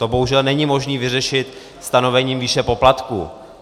To bohužel není možné vyřešit stanovením výše poplatků.